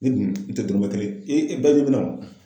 Ne dun n tɛ dɔrɔmɛ kelen, i ba bɛ na munna?